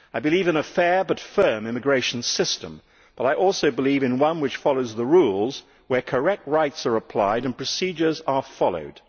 I believe in a fair but firm immigration system, but I also believe in one which follows the rules, where correct rights are applied and procedures are followed.